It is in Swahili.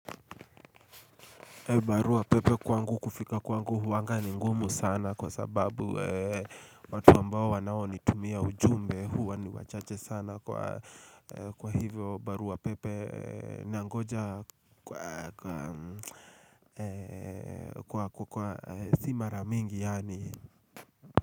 Barua pepe kwangu kufika kwangu huanga ni ngumu sana kwa sababu watu ambao wanao ni tumia ujumbe huwa ni wachache sana kwa hivyo barua pepe nangoja kwa simara mingi yaani.